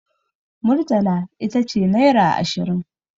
Murtala ita ce naira ashirin.